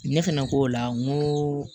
Ne fɛnɛ ko o la ŋo